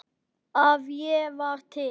að ég var til.